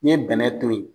N'i ye bɛnɛ to ye